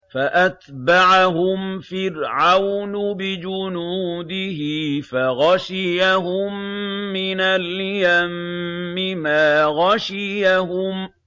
فَأَتْبَعَهُمْ فِرْعَوْنُ بِجُنُودِهِ فَغَشِيَهُم مِّنَ الْيَمِّ مَا غَشِيَهُمْ